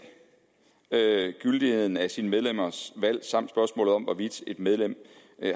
gyldigheden af sine medlemmers valg samt spørgsmålet om hvorvidt et medlem